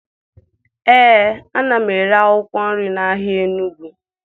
Ee, ana m ere akwụkwọ nri n'ahịa Enugwu